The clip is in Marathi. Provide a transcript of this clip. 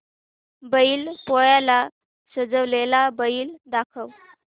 बैल पोळ्याला सजवलेला बैल दाखव